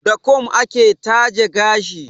Da kum ake taje gashi.